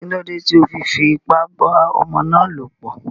Kílódé tí o fi fi ipá bá ọmọ ná lọ̀ pọ̀?